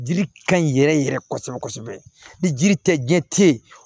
Dili ka ɲi yɛrɛ yɛrɛ kosɛbɛ kosɛbɛ ni jiri tɛ diɲɛ tɛ ye